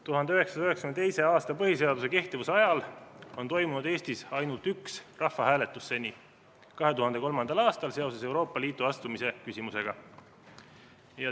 1992. aasta põhiseaduse kehtivuse ajal on Eestis toimunud ainult üks rahvahääletus: 2003. aastal Euroopa Liitu astumise küsimuses.